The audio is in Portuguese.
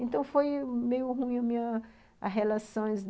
Então, foi meio ruim as minhas relações.